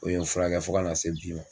O ye n furakɛ fo ka na se bi ma